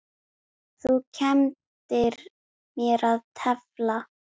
Þú kenndir mér að tefla.